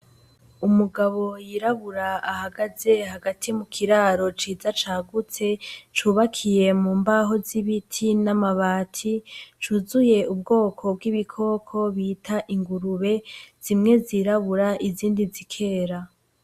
Umugabo yirabura ahagaze hagati mukiraro ciza cagutse, cubakiye mu mbaho z’ibiti n' amabati cuzuye ubwoko bw' ibikoko bita ingurube zimwe zirabura izindi zikera.